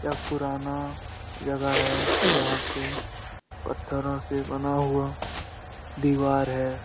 यह एक पुराना जगह है जहाँ पे पत्थरों से बना हुआ दीवार है।